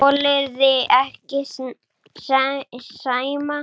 Þolirðu ekki Sæma?